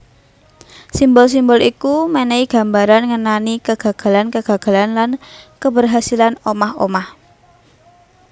Simbol simbol iku mènèhi gambaran ngenani kegagalan kegagalan lan keberhasilan omah omah